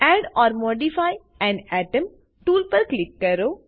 add or modify an atom tool પર click કરો